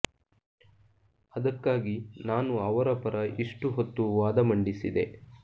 ಅದಕ್ಕಾಗಿ ನಾನು ಅವರ ಪರ ಇಷ್ಟು ಹೊತ್ತು ವಾದ ಮಂಡಿಸಿದೆ